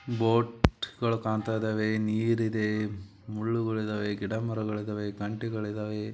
ಬೋಟ್ಗಳು ಕಾಣ್ತಾ ಇದಾವೆ ನೀರಿದೆ ಮುಳ್ಳುಗಳಿದಾವೆ ಗಿಡ ಮರಗಳಿದ್ದಾವೆ ಕಂಠಿಗಳಿದ್ದಾವೆ.